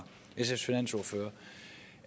sfs finansordfører